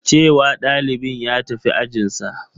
Ce wa ɗalibin ya tafi ajinsa.